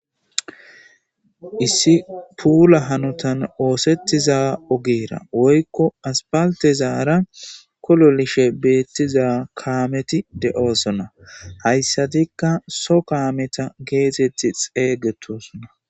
is tula ogeni oothetiza ogeyira woyikko asippalitezara koloolidhe betiza kammeti deosoona hayisatikka Soho kametaka getetidi xeesetoosona